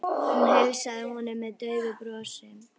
Hún heilsaði honum með daufu brosi.